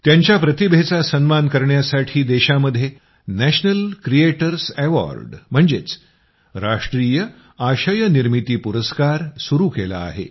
त्यांच्या प्रतिभेचा सन्मान करण्यासाठी देशामध्ये नॅशनल क्रिएटर्स अॅवॉर्ड म्हणजेच राष्ट्रीय आशय निर्मिती पुरस्कार सुरू केला आहे